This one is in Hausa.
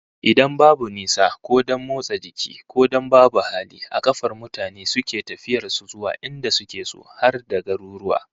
Idan babu nisa, ko don motsa jiki, ko don babu hali, a kafar mutane suke tafiyar su zuwa inda suke so, har da garuruwa